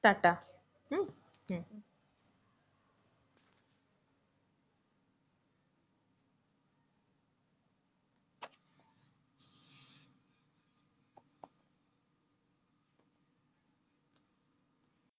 টা টা,